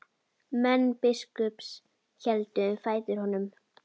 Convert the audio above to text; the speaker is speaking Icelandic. Menn biskups héldu um fætur honum.